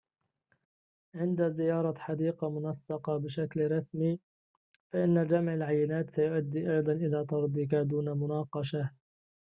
عند زيارة حديقة منسقة بشكل رسمي فإن جمع العينات سيؤدي أيضاً إلى طردك دون مناقشة